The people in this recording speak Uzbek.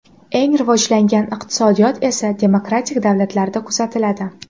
Eng rivojlangan iqtisodiyot esa demokratik davlatlarda kuzatiladi.